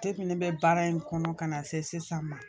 ne bɛ baara in kɔnɔ ka na se sisan ma